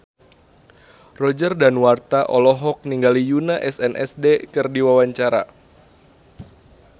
Roger Danuarta olohok ningali Yoona SNSD keur diwawancara